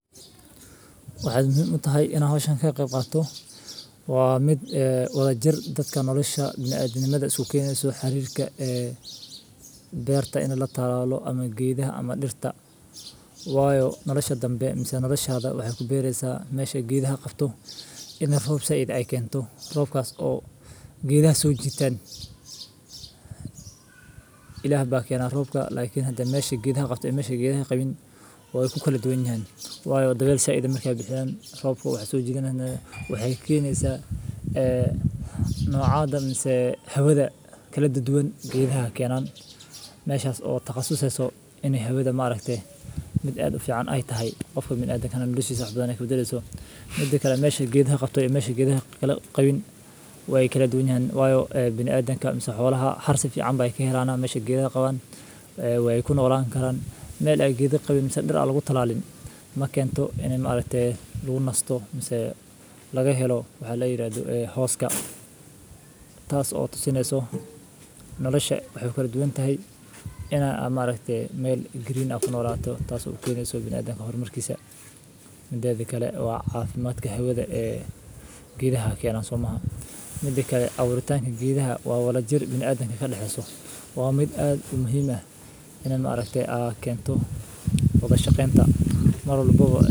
Waxey muhim u tahay in aan hawshan ka qebqaabto? Waa mid, eh, walaajir dadka nolosha bini'aadanima isu keeneysa xiriirka, ee, beerta in la taraalo ama giidhaha ama dhirta. Waayo, nolosha danbe amise noloshaada waxay ku beeraysaa meesha giidha qabto inay hoobsa idin ay keento. Roobkaas oo... giidhaan soo jiitaan. Ilaah baakiyaana roobka laakiin hadda meesha giidha qabto iyo meesha giidha qebin waayo ku kala duwan yaan. Waayo daweysa idin mar kaa bixinaan, roobka waxay soo jiinaan. Waxay keeneysaa, [sarrak] eee, nucaada maasee hawada kala duwan giidhaha keenaan meeshas oo taqasu seeso inay hawada maalagte. Mid aad u fiican ay tahay qofka bini'adan ka hor umarsiiyay xubnoow dayso. Muddo kale meesha giidha qabto iyo meesha giidha kela-qabin way kala duwan yaan. Waayo, bini'adanka misoo xogolaha harsif ci'anba ay ka helaan meesha giida qaban, ee, way ku noolaan karaan. Meel aggiidu qabiisna dhir aalagu tallaalay. Ma keento inay maalagtay luu nasto mise laga helo waxaa la yiraahdo, ee, hooska. Taas oo sinayso noloshe waxay ku dwayn tahay inaan amaarekte meel green aqoon nolato taas oo kiineyso bini'aadan ka hor markiisa. Midaadi kale waa caafimaadka hawada, ee, giidha keenaan sumahan. Midaki kale awritaankii giidha waa walaajir bini'aa danbe ka dhexeeyso. Waa mid aad muhiim ah inaan maalagtay akeento wadasha keenta maruu lagugu eeyo.